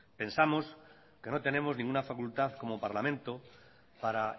pensamos que no tenemos ninguna facultad como parlamento para